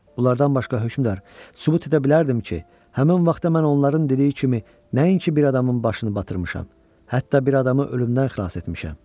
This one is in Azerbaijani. Bunlardan başqa hökmdar, sübut edə bilərdim ki, həmin vaxtda mən onların dediyi kimi nəinki bir adamın başını batırmışam, hətta bir adamı ölümdən xilas etmişəm.